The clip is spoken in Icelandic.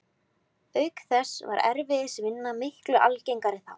Auk þess var erfiðisvinna miklu algengari þá.